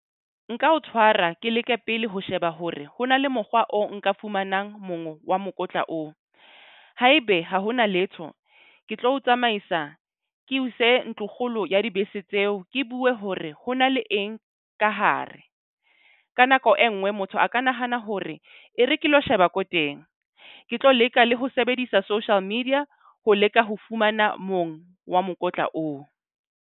Nka o tshwara ke leke pele ho sheba hore ho na le mokgwa o nka fumanang wa mokotla oo. Haebe ha hona letho ke tlo tsamaisa ke o ise ntlo kgolo ya dibese tseo, ke bue hore ho na le eng ka hare. Ka nako e nngwe motho a ka nahana hore e re ke lo sheba ko teng. Ke tlo leka le ho sebedisa social media ho leka ho fumana mong wa mokotla oo.